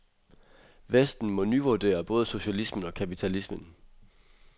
Vesten må nyvurdere både socialismen og kapitalismen.